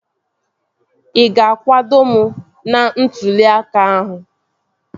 Ị ga-akwado m n'ntụli aka a?